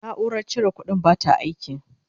naurar cire ƙuɗin bata aiki